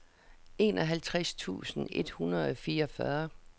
enoghalvtreds tusind et hundrede og fireogfyrre